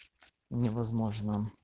невозможно